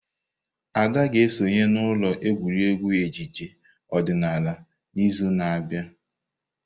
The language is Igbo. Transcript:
Ada ga-esonye n'ụlọ egwuregwu ejije odinala n'izu na-abịa.